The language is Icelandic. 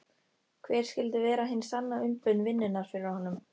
Hver skyldi vera hin sanna umbun vinnunnar fyrir honum?